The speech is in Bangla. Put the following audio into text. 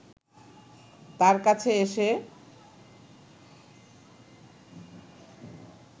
তার কাছে এসে